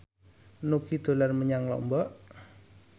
Nugie dolan menyang Lombok